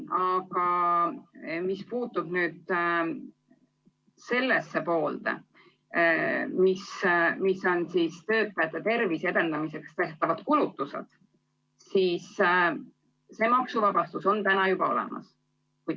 Aga mis puutub töötajate tervise edendamiseks tehtavatesse kulutustesse, siis see maksuvabastus on juba olemas.